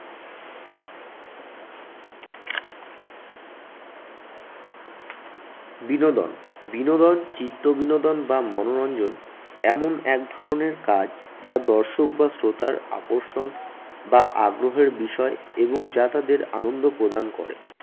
বিনোদন, বিনোদন চিত্ত বিনোদন বা মনোরঞ্জন এমন এক ধরনের কাজ যা দর্শক বা শ্রোতার আকর্ষণ বা আগ্রহের বিষয় এবং যা তাদের আনন্দ প্রদান করে।